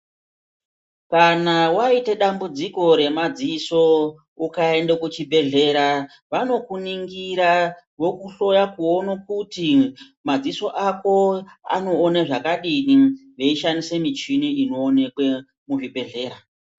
Kana waite dambudziko remadziso ukaenda kuchibhehlera vanokuningira vokuhloya kuona kuti madziso ako anoona zvakadini veishandisa michini inoonekwe muzvibhehlera.